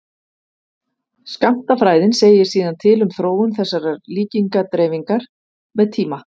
skammtafræðin segir síðan til um þróun þessarar líkindadreifingar með tíma